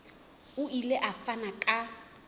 o ile a fana ka